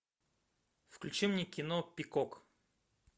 включи мне кино пикок